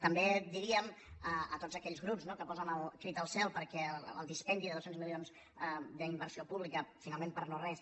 també diríem a tots aquells grups no que posen el crit al cel perquè el dispendi de dos cents milions d’inversió pública finalment per no res